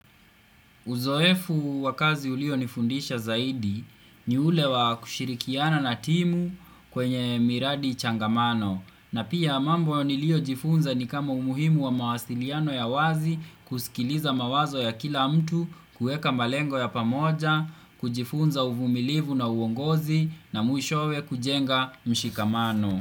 Uzoefu wa kazi ulio nifundisha zaidi ni ule wa kushirikiana na timu kwenye miradi changamano na pia mambo nilio jifunza ni kama umuhimu wa mawasiliano ya wazi kusikiliza mawazo ya kila mtu kuweka malengo ya pamoja, kujifunza uvumilivu na uongozi na mwishowe kujenga mshikamano.